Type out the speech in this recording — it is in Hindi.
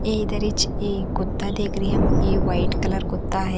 ये इधर हीच ये हम कुत्ता देख रिहम ये वाइट कलर कुत्ता हैं।